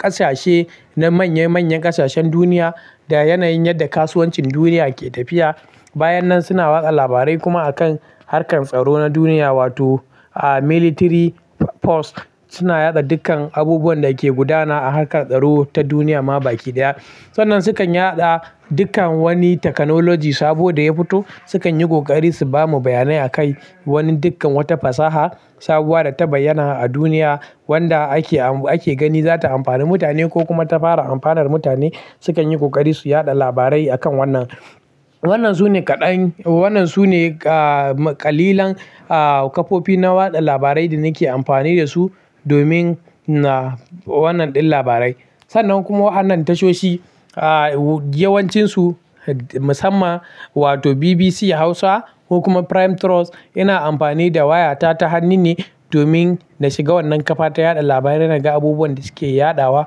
ƙasashe na manya manyan ƙasashen duniya da yanayin yadda kasuwancin duniya ke tafiya. Bayan nan suna watsa labarai kuma a kan harkar tsaro na duniya wato military force suna yaɗa dukkan abubuwan da ke gudana a harkar tsaro ta duniya ma baki ɗaya. Sannan sukan yaɗa dukkan wani technology sabo da ya fito sukan yi ƙoƙari su bamu bayanai akai. Wani dukkan wata fasaha sabuwa da ta bayyana a duniya wanda ake, ake gani za ta amfani mutane ko kuma ta fara amfanar mutane sukan yi kokari su yaɗa labarai a kan wannan. Wannan su ne kaɗan, wannan su ne, ah, ƙalilan, ah, kafofi na watsa labarai da nake amfani da su domin na wannan ɗin labarai. Sannan kuma wannan tashoshi, ah, yawancinsu musamman wato BBC Hausa ko kuma Prime Trust ina amfani da wayata ta hannu ne domin na shiga wannan kafa ta yaɗa labarai naga abubuwan da suke yaɗawa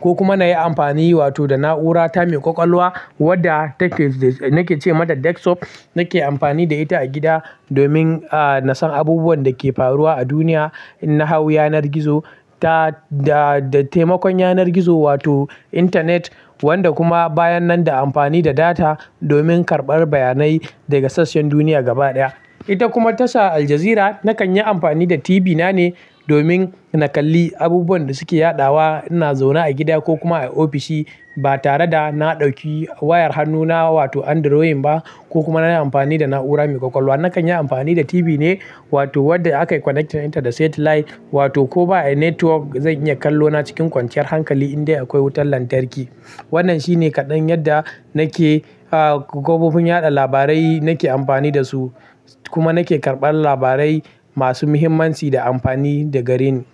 ko kuma na yi amfani wato da na'ura ta mai ƙwaƙwalwa wadda take nake ce mata desktop nake amfani da ita a gida domin, ah, na san abubuwan da ke faruwa a duniya. Nahau yanar gizo ta, da, da taimakon yanar gizo wato intanet wanda kuma bayan nan da amfani da data domin karɓar bayanai daga sassan duniya gaba ɗaya. Ita kuma tasha Al Jazeera nakan yi amfani da TV nane domin na kalli abubuwan da suke yaɗawa ina zaune a gida ko kuma a ofishi ba tare da na ɗauki wayar hannu na wato androin ba ko kuma na yi amfani da na'ura mai ƙwaƙwalwa. Nakan yi amfani da TV ne wato wadda aka connectin ɗin ta da satellite wato ko ba network zan iya kallo na cikin kwanciyar hankali indai akwai wutar lantarki. Wannan shine kaɗan yadda nake, ah, kafofin yaɗa labarai nake amfani da su kuma nake karɓar labarai masu muhimmanci da amfani da gareni.